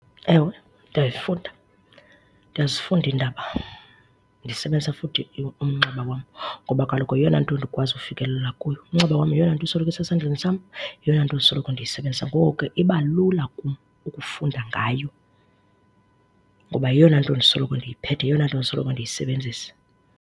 Ewe, ndiyayifunda. Ndiyazifunda iindaba ndisebenzisa futhi umnxeba wam ngoba kaloku yeyona nto ndikwazi ukufikelela kuyo. Umnxeba wam yeyona nto isoloko esesandleni sam, yeyona nto ndisoloko ndiyisebenzisa. Ngoko ke iba lula kum ukufunda ngayo ngoba yeyona nto ndisoloko ndiyiphethe, yeyona nto ndisoloko ndiyisebenzisa.